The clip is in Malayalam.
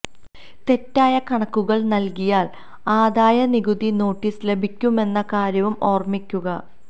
തെറ്റായ കണക്കുകൾ നൽകിയാൽ ആദായ നികുതി നോട്ടിസ് ലഭിക്കുമെന്ന കാര്യവും ഓർമ്മിക്കുക